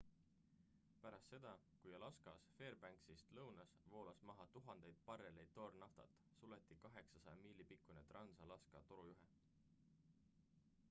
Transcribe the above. pärast seda kui alaskas fairbanksist lõunas voolas maha tuhandeid barreleid toornaftat suleti 800 miili pikkune trans-alaska torujuhe